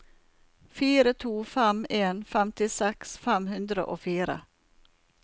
fire to fem en femtiseks fem hundre og fire